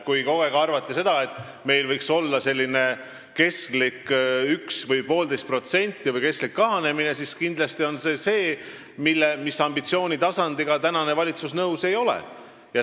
Kui kogu aeg arvati seda, et meil võiks olla selline kestlik 1% või 1,5% või kestlik kahanemine, siis see on kindlasti selline ambitsioonitasand, millega praegune valitsus nõus ei ole.